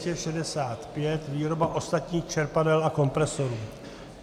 N265 - výroba ostatních čerpadel a kompresorů.